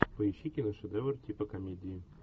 поищи киношедевр типа комедии